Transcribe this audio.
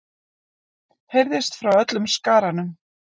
heyrðist frá öllum skaranum.